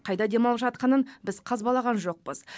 қайда демалып жатқанын біз қазбалаған жоқпыз